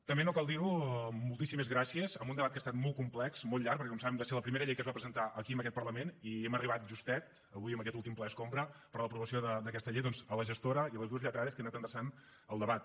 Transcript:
també no cal dir ho moltíssimes gràcies en un debat que ha estat molt complex molt llarg perquè com saben va ser la primera llei que es va presentar aquí en aquest parlament i hem arribat justet avui en aquest últim ple escombra per a l’aprovació d’aquesta llei doncs a la gestora i a les dues lletrades que han anat endreçant el debat